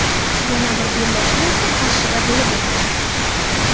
Yana bir bellashuv esa Qarshida bo‘lib o‘tdi.